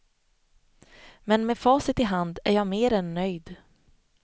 Men med facit i hand är jag mer än nöjd.